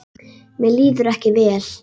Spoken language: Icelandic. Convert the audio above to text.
Mér líður ekki vel.